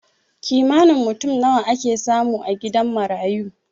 Kimanin mutum nawa ake samu a gidan marayu?